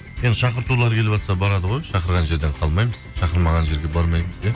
енді шақыртулар келіватса барады ғой шақырған жерден қалмаймыз шақырмаған жерге бармаймыз иә